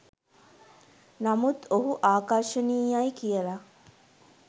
නමුත් ඔහු ආකර්ශනීයයි කියල